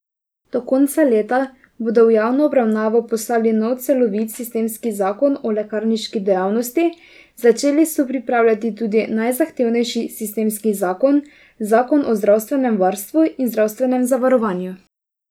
Do konca leta bodo v javno obravnavo poslali nov celovit sistemski zakon o lekarniški dejavnosti, začeli so pripravljati tudi najzahtevnejši sistemski zakon, zakon o zdravstvenem varstvu in zdravstvenem zavarovanju.